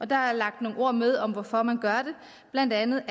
der er lagt nogle ord med om hvorfor man gør det blandt andet